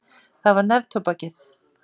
Það var neftóbakið.